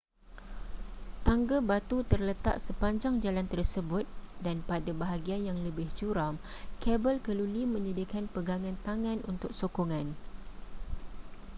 tangga batu terletak sepanjang jalan tersebut dan pada bahagian yang lebih curam kabel keluli menyediakan pegangan tangan untuk sokongan